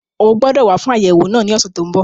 O gbọdọ̀ wá fún àyẹ̀wò náà ní ọ̀sẹ̀ tó n bọ̀